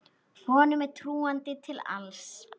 Honum er trúandi til alls.